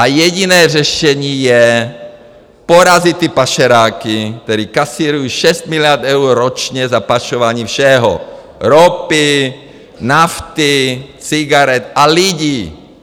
A jediné řešení je porazit ty pašeráky, kteří kasírují 6 miliard eur ročně za pašování všeho - ropy, nafty, cigaret a lidí.